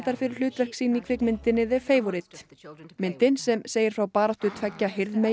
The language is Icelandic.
fyrir hlutverk sín í kvikmyndinni The Favourite myndin sem segir frá baráttu tveggja